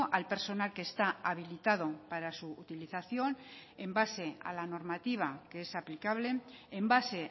al personal que está habilitado para su utilización en base a la normativa que es aplicable en base